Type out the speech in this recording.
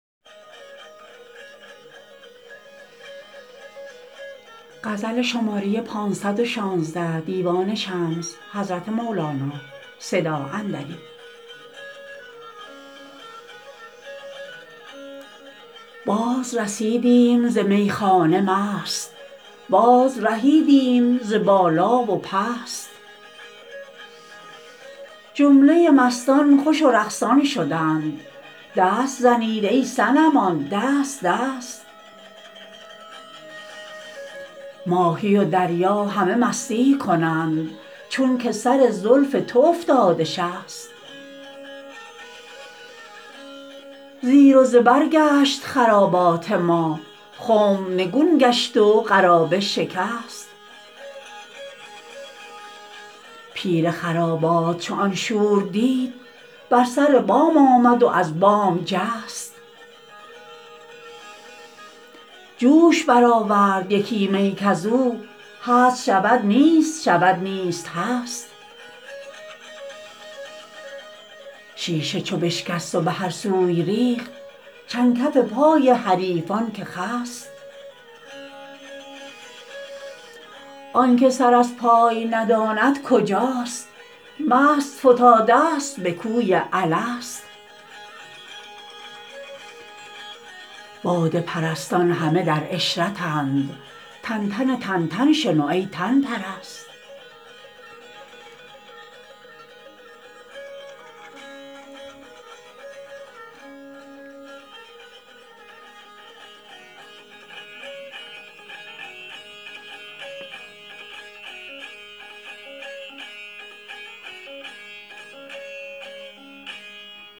بازرسیدیم ز میخانه مست بازرهیدیم ز بالا و پست جمله مستان خوش و رقصان شدند دست زنید ای صنمان دست دست ماهی و دریا همه مستی کنند چونک سر زلف تو افتاده شست زیر و زبر گشت خرابات ما خنب نگون گشت و قرابه شکست پیر خرابات چو آن شور دید بر سر بام آمد و از بام جست جوش برآورد یکی می کز او هست شود نیست شود نیست هست شیشه چو بشکست و به هر سوی ریخت چند کف پای حریفان که خست آن که سر از پای نداند کجاست مست فتادست به کوی الست باده پرستان همه در عشرتند تنتن تنتن شنو ای تن پرست